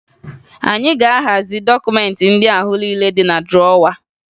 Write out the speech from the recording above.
Anyị ga-ahazi dọkụmentị ndị ahụ niile dị na drọwa